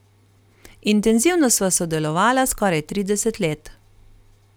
Intenzivno sva sodelovala skoraj trideset let.